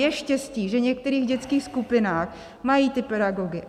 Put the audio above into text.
Je štěstí, že v některých dětských skupinách mají ty pedagogy.